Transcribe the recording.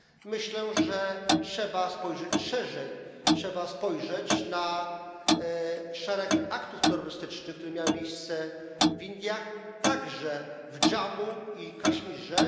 Myślę, że trzeba spojrzeć szerzej, trzeba spojrzeć na szereg aktów terrorystycznych, które miały miejsce w Indiach, także w Dżammu i Kaszmirze.